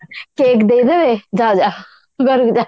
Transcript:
cake ଦେଇଦେବେ ଯାଅ ଯାଅ ଘରକୁ ଯାଅ